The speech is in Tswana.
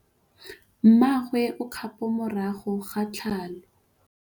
Mmagwe o kgapô morago ga tlhalô.